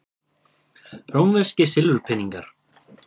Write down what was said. Rómverskir silfurpeningar.